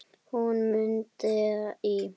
Hún Munda í